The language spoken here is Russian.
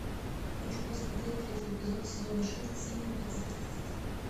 хочу посмотреть третий эпизод сезона шесть синий экзорцист